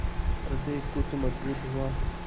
हृदय कुछ मजबूत हुआ